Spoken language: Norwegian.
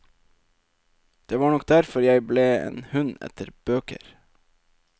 Det var nok derfor jeg ble en hund etter bøker.